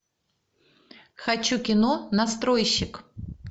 хочу кино настройщик